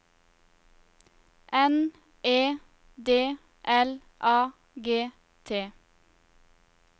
N E D L A G T